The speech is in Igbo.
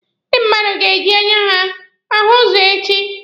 Ndị mmadụ ga-eji anya ha ahụ ụzọ echi.